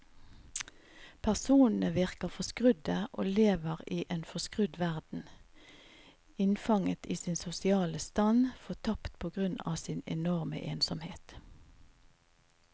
Personene virker forskrudde og lever i en forskrudd verden, innfanget i sin sosiale stand, fortapte på grunn av sin enorme ensomhet.